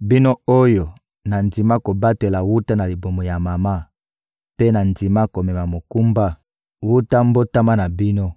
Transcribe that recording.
bino oyo nandima kobatela wuta na libumu ya mama mpe nandima komema mokumba wuta mbotama na bino.